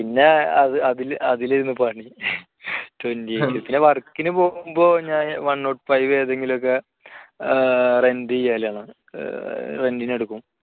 പിന്നെ അതിലിരുന്ന് പണി twenty eight ന് work ന് പോകുമ്പോൾ ഞാൻ one not five ഏതെങ്കിലുമൊക്കെ rent ചെയ്യലാണ് rent ന് എടുക്കും.